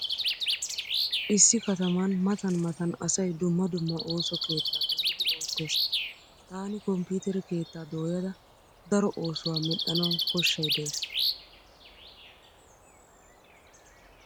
Issi kataman matan matan asay dumma dumma ooso keettaa dooyidi oottees. Taani komppiitere keettaa dooyada daro oosuwa medhdhanawu koshshay dees.